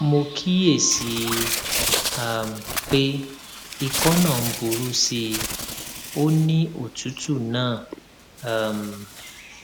mo kíyèsí i um pé ikọ náà ń burú sí i ó ní òtútù náà um